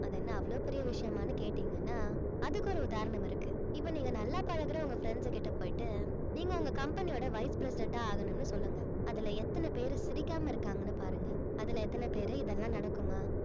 அது என்ன அவ்ளோ பெரிய விஷயமான்னு கேட்டீங்கன்னா அதுக்கு ஒரு உதாரணம் இருக்கு இப்ப நீங்க நல்லா பழகுற உங்க friends கிட்ட போயிட்டு நீங்க உங்க company யோட vice president ஆ ஆகணும்னு சொல்லுங்க அதுல எத்தன பேரு சிரிக்காம இருக்காங்கன்னு பாருங்க அதுல எத்தன பேரு இதெல்லாம் நடக்குமா